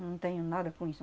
Não tenho nada com isso.